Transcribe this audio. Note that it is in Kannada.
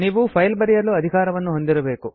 ನೀವು ಫೈಲ್ ಬರೆಯಲು ಅಧಿಕಾರವನ್ನು ಹೊಂದಿರಬೇಕು